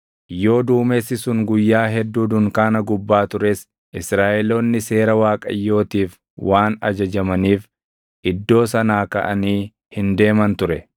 Yoo duumessi sun guyyaa hedduu dunkaana gubbaa tures Israaʼeloonni seera Waaqayyootiif waan ajajamaniif iddoo sanaa kaʼanii hin deeman ture.